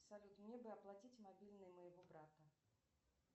салют мне бы оплатить мобильный моего брата